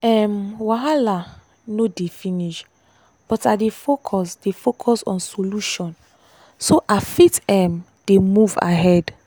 um wahala no dey finish but i dey focus dey focus on solution so i fit um dey move ahead.